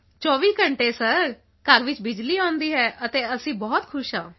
24 ਘੰਟੇ ਸਰ ਸਾਡੇ ਘਰ ਵਿੱਚ ਬਿਜਲੀ ਆਉਂਦੀ ਹੈ ਅਤੇ ਅਸੀਂ ਬਹੁਤ ਖੁਸ਼ ਹਾਂ